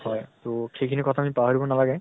হয় তʼ সেই খিনি কথা আমি পাহৰিব নালাগে।